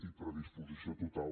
i predisposició total